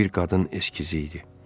Bu bir qadın eskizi idi.